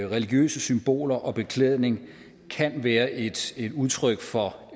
religiøse symboler og beklædning kan være et udtryk for